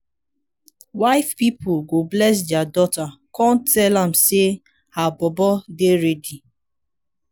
wife pipol go bless dia daughter con tell am say her bobo dey ready